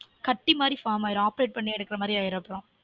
கட்டி மாரி form ஆகிடும் operate பண்ணி எடுக்குற மாரி ஆகிடும்